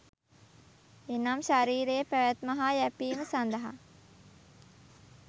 එනම් ශරීරයේ පැවැත්ම හා යැපීම සඳහා